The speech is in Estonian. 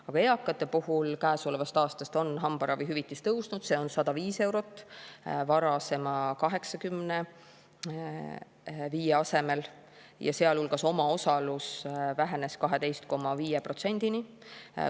Aga eakate puhul käesolevast aastast on hambaravihüvitis tõusnud, see on 105 eurot varasema 85 asemel ja omaosalus vähenes 12,5%-ni.